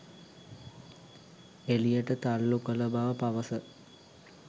එළියට තල්ලු කළ බව පවස